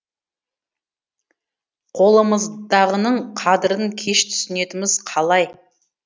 қолымыздағының қадірін кеш түсінетіміз қалай